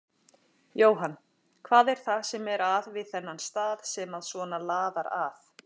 Jóhann: Hvað er það sem að er við þennan stað sem að svona laðar að?